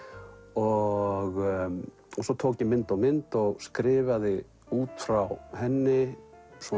og svo tók ég mynd og mynd og skrifaði út frá henni svona